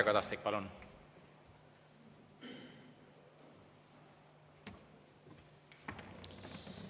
Mario Kadastik, palun!